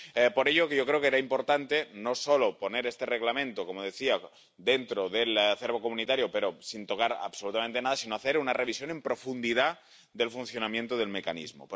Por ello, yo creo que era importante no solo incluir este Reglamento —como decía— dentro del acervo comunitario pero sin tocar absolutamente nada, sino hacer una revisión en profundidad del funcionamiento del Mecanismo.